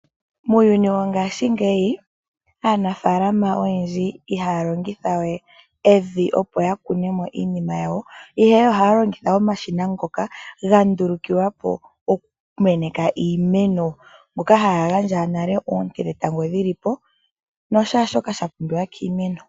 Mogaashi ngeyi aanafalama oyendji ihaya longitha we evi opo ya kune mo iinima yawo ihe ohaya longitha omashina ngoka gandulukilwapo okumeneka iimeno ngoka haga gandja nale oonte dhetango dhili po nosha shoka sha pumbiwa kiimeno.